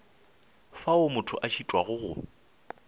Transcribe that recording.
fao motho a šitwago go